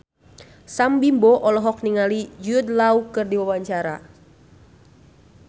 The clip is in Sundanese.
Sam Bimbo olohok ningali Jude Law keur diwawancara